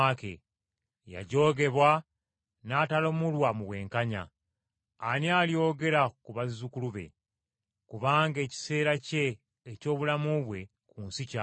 Yajoogebwa n’atalamulwa mu bwenkanya. Ani alyogera ku bazzukulu be? Kubanga ekiseera kye eky’obulamu bwe ku nsi kyakoma!”